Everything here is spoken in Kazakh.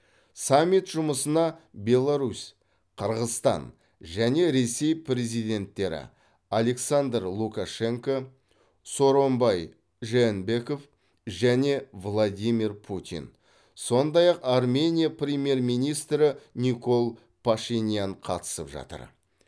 саммит жұмысына беларусь қырғызстан және ресей президенттері александр лукашенко сооронбай жээнбеков және владимир путин сондай ақ армения премьер министрі никол пашинян қатысып жатыр